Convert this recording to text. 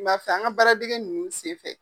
N ba fɛ an baara dege nunnu sen fɛ.